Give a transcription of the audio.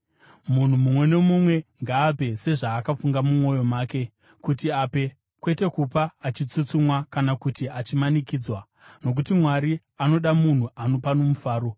Munhu mumwe nomumwe ngaape sezvaakafunga mumwoyo make kuti ape, kwete kupa achitsutsumwa kana kuti achimanikidzwa, nokuti Mwari anoda munhu anopa nomufaro.